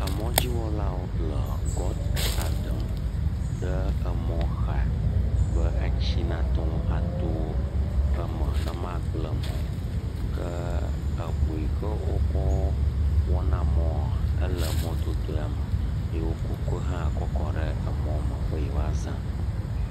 Emɔdziwɔlawo le gɔta ɖem ɖe emɔxa be etsi nate ŋu ato eme ne magble mɔ o ke eŋu yi ke wokɔ wɔna mɔa ele mɔdodoa me eye woku ke hã kɔ kɔ ɖe emɔa me be yeawoa zã.